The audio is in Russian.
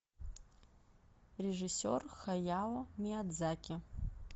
режиссер хаяо миядзаки